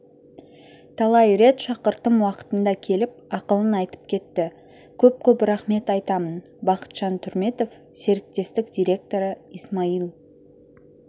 талай рет шақырттым уақытында келіп ақылын айтып кетті көп-көп рахмет айтамын бақытжан түрметов серіктестік директоры исмаил